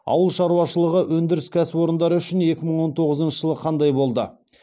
ауыл шаруашылығы өндіріс кәсіпорындары үшін екі мың он тоғызыншы жыл қандай болды